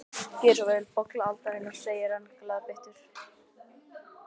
Gerið svo vel, bolla aldarinnar, segir hann glaðbeittur.